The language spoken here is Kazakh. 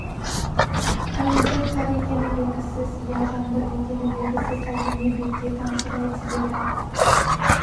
әуеден қар екені белгісіз иә жаңбыр екені белгісіз әлдене бетке тамшыдай тиеді